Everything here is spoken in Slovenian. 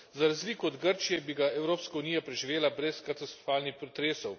Za razliko od Grčije bi ga Evropska unija preživela brez katastrofalnih pretresov.